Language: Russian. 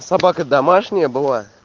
собака домашняя была